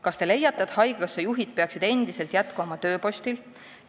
Kas te leiate, et haigekassa juhid peaksid endiselt jätkama oma tööpostil?